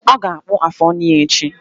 Ọ ga-akpụ afụ ọnụ ya echi